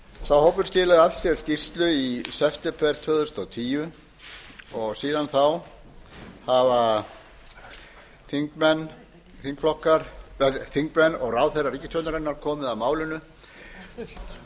sá hópur skilaði af sér skýrslu í september tvö þúsund og níu og síðan þá hafa þingmenn og ráðherrar ríkisstjórnarinnar komið að málinu